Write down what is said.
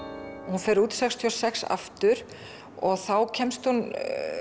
hún fer út sextíu og sex aftur og þá kemst hún